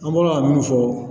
An bɔ ka min fɔ